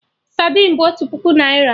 Sadin bụ otu puku naira